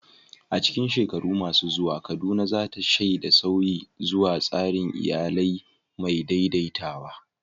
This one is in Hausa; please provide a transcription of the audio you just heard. A cikin shekaru masu zuwa, Kaduna za ta shaidi sauyi zuwa tsarin iyali mai daidaitawa.